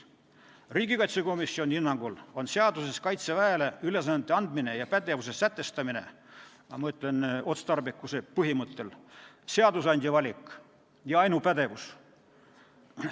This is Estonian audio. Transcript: " Riigikaitsekomisjoni hinnangul on seaduses Kaitseväele ülesannete andmine ja pädevuse sätestamine – ma mõtlen otstarbekuse põhimõttel – seadusandja valik ja ainupädevus.